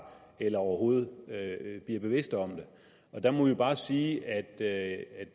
eller overhovedet bliver bevidste om det der må vi bare sige at at